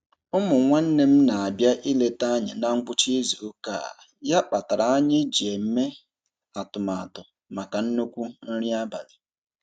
Ụmụ nwanne m na-abịa ileta anyị na ngwụcha izuụka a ya kpatara anyị ji eme atụmatụ maka nnukwu nri abalị.